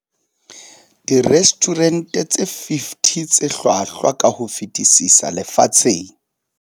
Direstjhurente tse 50 tse hlwahlwa ka ho fetisisa lefatsheng.